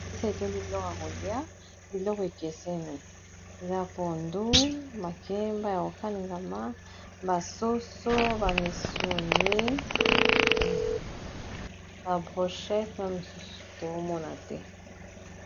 Mesa etundi biloko ya kolia biloko ekeseni eza pondu makemba ya kokaliganma basoso bamisuni ba brochete na mosusu tozomona te